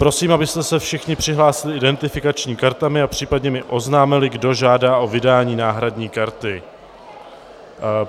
Prosím, abyste se všichni přihlásili identifikačními kartami a případně mi oznámili, kdo žádá o vydání náhradní karty.